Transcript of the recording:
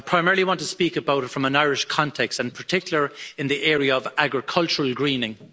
I primarily want to speak about it from an Irish context and, in particular, in the area of agricultural greening.